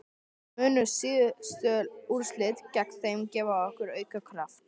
Munu síðustu úrslit gegn þeim gefa okkur auka kraft?